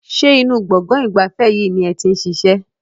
Ṣé inú gbọ̀ngàn ìgbafẹ́ yìí ni ẹ ti ń ṣiṣẹ́?